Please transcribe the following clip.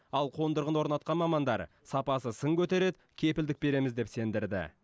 ал қондырғыны орнатқан мамандар сапасы сын көтереді кепілдік береміз деп сендірді